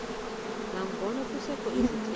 nangona kusekho izithethi